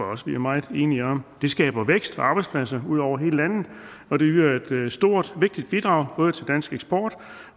også vi er meget enige om det skaber vækst og arbejdspladser ud over hele landet og det yder et stort og vigtigt bidrag både til dansk eksport